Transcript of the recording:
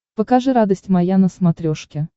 покажи радость моя на смотрешке